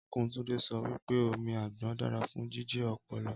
Ọnkú Túndé sọ wípé omi àgbọn dára fún jíjí ọpọlọ